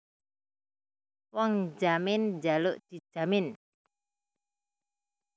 Wong njamin njaluk dijamin